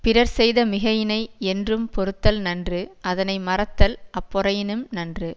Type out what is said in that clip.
பிறர் செய்த மிகையினை யென்றும் பொறுத்தல் நன்று அதனை மறத்தல் அப்பொறையினும் நன்று